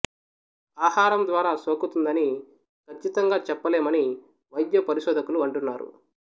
ఆహారం ద్వారా సోకుతుందని కచ్చితంగా చెప్పలేమని వైద్య పరిశోధకులు అంటున్నారు